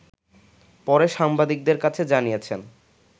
পরে সাংবাদিকদের কাছে জানিয়েছেন